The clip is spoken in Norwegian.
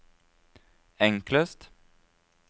enklest